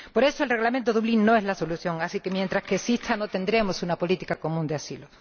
Por eso, el Reglamento de Dublín no es la solución, así que, mientras exista, no tendremos una política común de asilo.